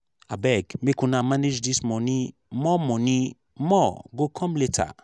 abeg make una manage dis money more money more go come later